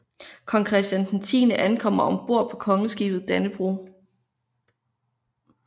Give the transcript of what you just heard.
Kong Christian X ankommer ombord på Kongeskibet Dannebrog